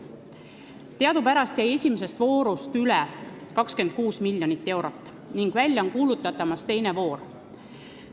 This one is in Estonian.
Teadupärast jäi esimesest voorust üle 26 miljonit eurot ning väljakuulutamisel on teine voor.